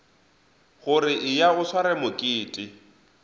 gore eya o sware mokete